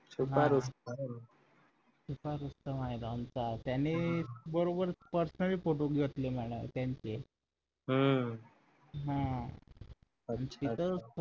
छुपा रूसत छुपा रुस्तम आहे आमचा त्याने बरोबर personal photo घेतले म्हणे त्यांचे हम्म